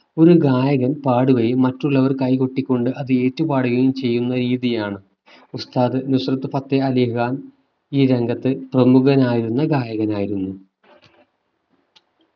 ഒരു ഗായകൻ പാടുകയും മറ്റുള്ളവർ കൈ കൊട്ടി കൊണ്ട് അത് ഏറ്റുപാടുകയും ചെയ്യുന്ന രീതിയാണ്. ഉസ്താദ് നുസ്രത് ഫത്തേ അലി ഖാൻ ഈ രംഗത്ത് പ്രമുഖനായിരുന്ന ഗായകനായിരുന്നു